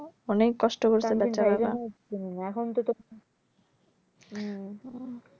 অনেক কষ্ট করছে বেচারারা এখন তো তো